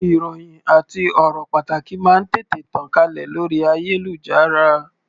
Ìròhìn àti ọ̀rọ̀ pàtàkì máa ń tètè tàn kálẹ̀ lórí ayélujára.